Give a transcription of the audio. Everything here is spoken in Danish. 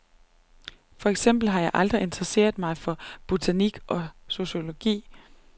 For eksempel har jeg aldrig interesseret mig for botanik og zoologi.